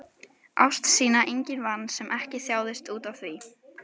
Ást sína enginn vann sem ekki þjáðist útaf því.